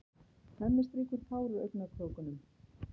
Hemmi strýkur tár úr augnakrókunum.